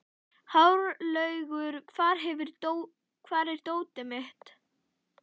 Hárlaugur, hvar er dótið mitt?